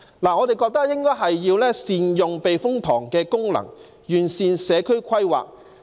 我們認為應該善用避風塘的功能，完善社區規劃。